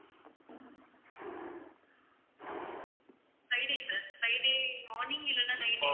Friday sir Friday morning இல்லைன்னா night